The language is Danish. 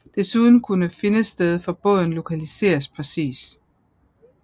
Desuden kunne findested for båden lokaliseres præcist